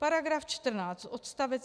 Paragraf 14 odst.